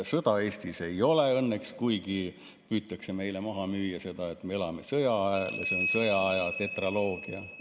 Sõda Eestis õnneks ei ole, kuigi püütakse meile maha müüa seda, et me elame sõjaajal ja et see on sõjaaja tetraloogia.